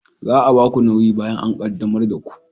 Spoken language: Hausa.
Za a ba ku nauyi bayan an qaddamar da ku